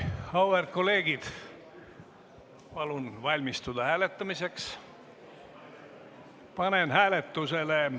Auväärt kolleegid, palun valmistuda hääletamiseks!